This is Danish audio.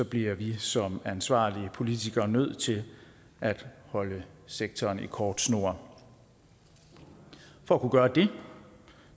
bliver vi som ansvarlige politikere nødt til at holde sektoren i kort snor for at kunne gøre det